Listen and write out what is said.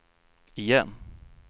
igen